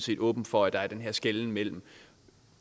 helt åben for at der er den her skelnen mellem